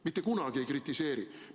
Mitte kunagi ei kritiseeri!